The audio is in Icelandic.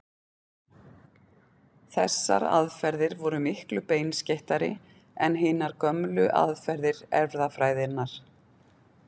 Þessar aðferðir voru miklu beinskeyttari en hinar gömlu aðferðir erfðafræðinnar.